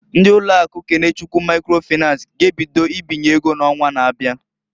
Ndị ụlọ akụ Kenechukwu Maikro Fịnans g'ebido ibinye ego n'onwa na-abia.